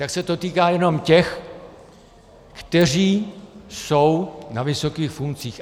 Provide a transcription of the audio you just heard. Tak se to týká jenom těch, kteří jsou na vysokých funkcích.